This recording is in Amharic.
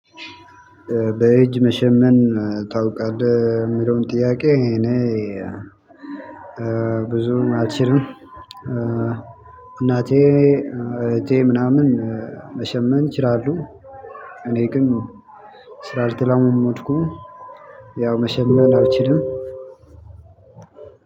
በእጅ መሸመን ታውቃለህ? የሚለውን ጥያቄ እኔ ብዙም አልችልም እናቴ እህቴ ምናምን መሸመን ይችላሉ። እኔ ግን ስላልተለማመድኩኝ ያው መሸመን አልችልም።